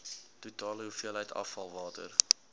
totale hoeveelheid afvalwater